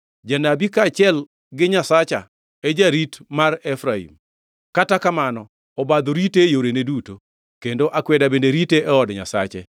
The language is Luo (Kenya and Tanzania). Janabi, kaachiel gi Nyasacha e jarit mar Efraim, kata kamano obadho rite e yorene duto, kendo akweda bende rite e od Nyasache.